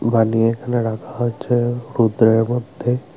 পানি এখানে রাখা আছে রৌদ্রের মধ্যে।